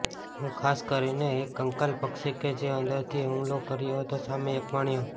હું ખાસ કરીને એક કંકાલ પક્ષી કે જે અંદરથી હુમલો કર્યો હતો સામે એક માણ્યો